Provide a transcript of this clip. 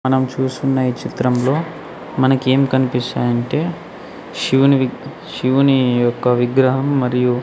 మనం చూస్తున్న ఈ చిత్రంలో మనకి ఏం కనిపిస్తున్నాయి అంటే శివుని శివుని యొక్క విగ్రహం మరియు.